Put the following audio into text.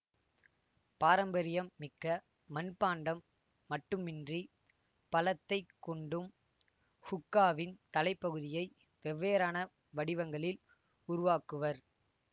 பாரம்பரியம் மிக்க மண் பாண்டம் மட்டுமின்றி பழத்தைக் கொண்டும் ஹூக்காவின் தலைப்பகுதியை வெவ்வேறான வடிவங்களில் உருவாக்குவர்